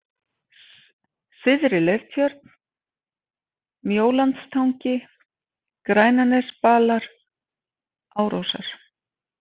Syðri-Leirtjörn, Mjólandstangi, Grænanesbalar, Árósar